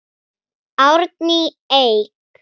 Árný Eik.